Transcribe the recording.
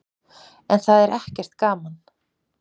En það er ekkert gaman.